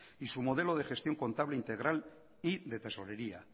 y su modelo de gestión contable integral y de tesorería